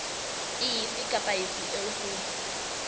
efe kapa efe eo ho